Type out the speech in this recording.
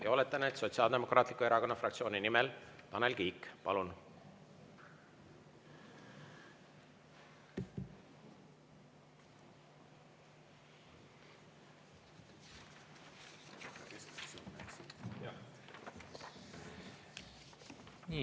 Ja oletan, et Sotsiaaldemokraatliku Erakonna fraktsiooni nimel, Tanel Kiik, palun!